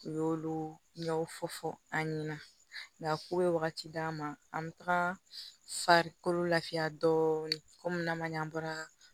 U y'olu ɲɛw fɔ fɔ an ɲɛna nka k'u bɛ wagati d'an ma an bɛ taga farikolo lafiya dɔɔni kɔmi n'a ma ɲɛ an bɔra